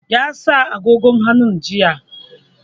Ya sa agogon hannu jiya.